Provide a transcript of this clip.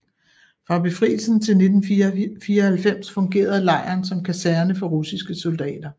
Fra befrielsen til 1994 fungerede lejren som kaserne for russiske soldater